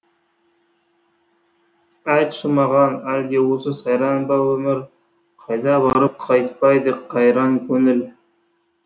айтшы маған әлде осы сайран ба өмір қайда барып қайтпайды қайран көңіл